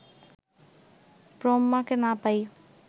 ব্রহ্মাকে না পাই